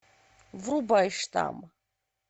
врубай штамм